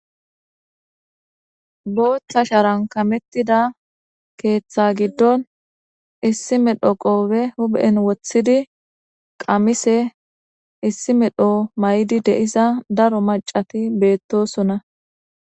Botha sharan kametida keththa gidon issi medho qobe huphen wothidi qamise issi medho may'di de'iza daro macati betosona.